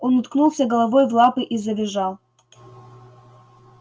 он уткнулся головой в лапы и завизжал